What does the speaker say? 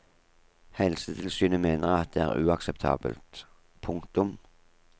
Helsetilsynet mener at det er uakseptabelt. punktum